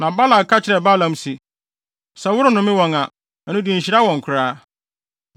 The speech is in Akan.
Na Balak ka kyerɛɛ Balaam se, “Sɛ worennome wɔn a, ɛno de nhyira wɔn koraa.”